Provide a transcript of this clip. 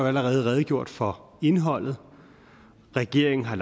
allerede redegjort for indholdet regeringen har